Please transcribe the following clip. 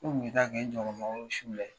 Ko bɛ taa kɛ n su la